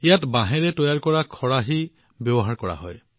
ইয়াত বাঁহেৰে তৈয়াৰ কৰা বাস্কেট বা চুপলি ব্যৱহাৰ কৰা হয়